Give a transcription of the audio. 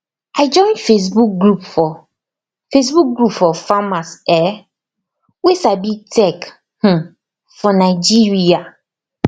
i join facebook group for facebook group for farmers um wey sabi tech um for nigeria